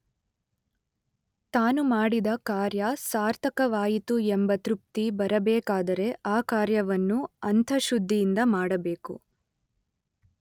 ತಾನು ಮಾಡಿದ ಕಾರ್ಯ ಸಾರ್ಥಕವಾಯಿತು ಎಂಬ ತೃಪ್ತಿ ಬರಬೇಕಾದರೆ ಆ ಕಾರ್ಯವನ್ನು ಅಂತಃಶುದ್ಧಿಯಿಂದ ಮಾಡಬೇಕು.